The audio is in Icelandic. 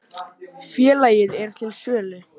Félagið er til sölu.